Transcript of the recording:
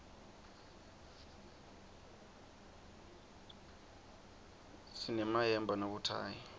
sinemayemba nabothayi